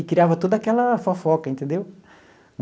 E criava toda aquela fofoca, entendeu?